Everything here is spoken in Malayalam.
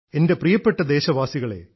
എൻറെ പ്രിയപ്പെട്ട ദേശവാസികളേ